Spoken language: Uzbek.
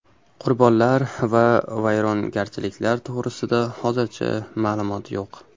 Qurbonlar va vayrongarchiliklar to‘g‘risida hozircha ma’lumot yo‘q.